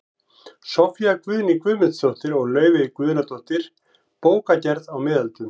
Soffía Guðný Guðmundsdóttir og Laufey Guðnadóttir, Bókagerð á miðöldum